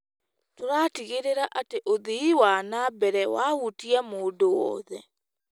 Tũratigĩrĩra atĩ ũthii wa na mbere wahutia mũndũ wothe.